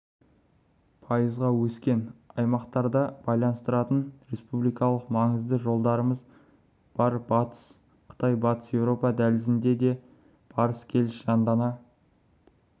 пайызға өскен аймақтарды байланыстыратын республикалық маңыздағы жолдарымыз бар батыс қытай-батыс еуропа дәлізінде де барыс-келіс жандана